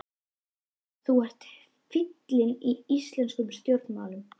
Benediktsson, Ingólfur Jónsson, Jóhann Hafstein og Magnús Jónsson frá